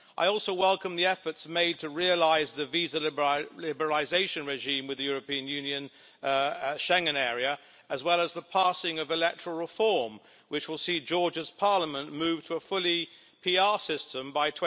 I also welcome the efforts made to realise the visa liberalisation regime with the European Union Schengen area, as well as the passing of electoral reform, which will see Georgia's Parliament moved to a fully PR system by